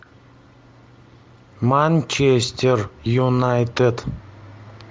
манчестер юнайтед